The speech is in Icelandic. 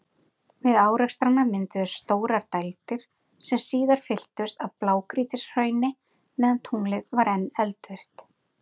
Við árekstrana mynduðust stórar dældir, sem síðar fylltust af blágrýtishrauni meðan tunglið var enn eldvirkt.